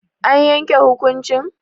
An yanke hukuncin?